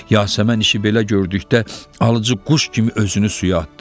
Yasəmən işi belə gördükdə alıcı quş kimi özünü suya atdı.